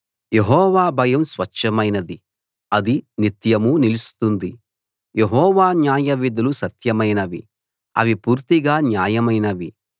యెహోవా భయం స్వచ్ఛమైనది అది నిత్యం నిలుస్తుంది యెహోవా న్యాయవిధులు సత్యమైనవి అవి పూర్తిగా న్యాయమైనవి